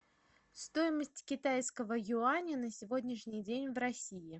стоимость китайского юаня на сегодняшний день в россии